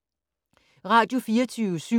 Radio24syv